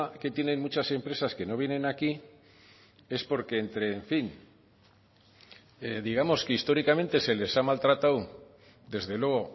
que tienen muchas empresas que no vienen aquí es porque entre en fin digamos que históricamente se les ha maltratado desde luego